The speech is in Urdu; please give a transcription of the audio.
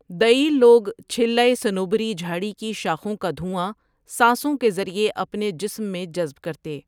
دئیل لوگ چِھلیِٰ صنوبری جھاڑی کی شاخوں کا دھواں سانسوں کے ذریعے اپنے جسم میں جذب کرتے۔